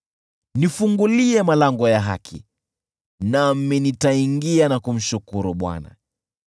Nifungulie malango ya haki, nami nitaingia na kumshukuru Bwana .